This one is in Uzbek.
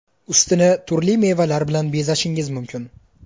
Ustini turli mevalar bilan bezashingiz mumkin.